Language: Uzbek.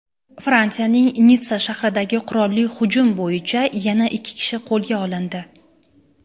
Fransiyaning Nitssa shahridagi qurolli hujum bo‘yicha yana ikki kishi qo‘lga olindi.